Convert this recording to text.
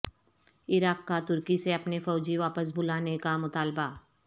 عراق کا ترکی سے اپنے فوجی واپس بلانے کا مطالبہ